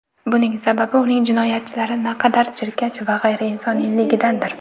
Buning sababi uning jinoyatlari naqadar jirkanch va g‘ayriinsoniyligidadir.